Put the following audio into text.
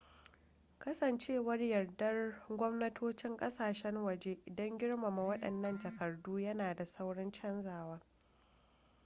kasancewar yardar gwamnatocin kasashen waje don girmama waɗannan takardu yana da saurin canzawa